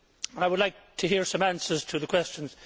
I would like to hear some answers to questions.